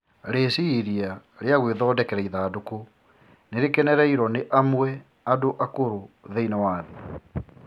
Rĩciria rĩa gwĩthondekera ithandũkũ nĩ rĩkenereirwo nĩ amwe andũ akũrũ thĩinĩ wa thĩ